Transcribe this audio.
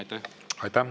Aitäh!